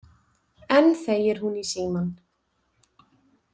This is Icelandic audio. Enn þegir hún í símann.